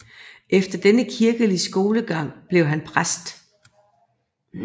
Efter denne kirkelige skolegang blev han præst